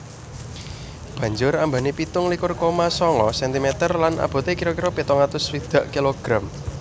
Banjur ambané pitung likur koma sanga sentimeter lan aboté kira kira pitung atus swidak kilogram